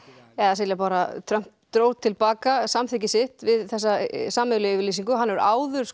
Silja Bára Trump dró til baka samþykki sitt við sameiginlegu yfirlýsinguna áður